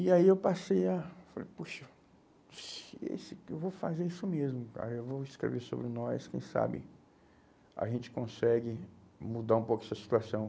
E aí eu passei a a falar, puxa, isso aqui, eu vou fazer isso mesmo, cara, eu vou escrever sobre nós, quem sabe a gente consegue mudar um pouco essa situação.